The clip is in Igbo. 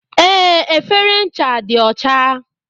Ee, efere ncha dị ọcha